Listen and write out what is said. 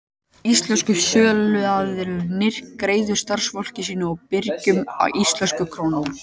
Íslensku söluaðilarnir greiða starfsfólki sínu og birgjum í íslenskum krónum.